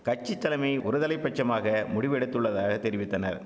கட்சித்தலைமை ஒருதலை பட்சமாக முடிவெடுத்துள்ளதாக தெரிவித்தனர்